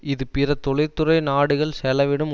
இது பிற தொழிற்துறை நாடுகள் செலவிடும்